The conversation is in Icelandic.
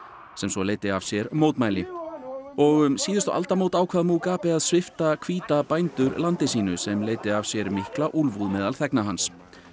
sem svo leiddi af sér mótmæli og um aldamótin ákvað að svipta hvíta bændur landi sínu sem leiddi af sér mikla úlfúð meðal þegna hans